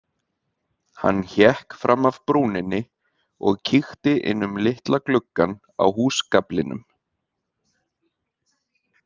Hann hékk fram af brúninni og kíkti inn um litla gluggann á húsgaflinum.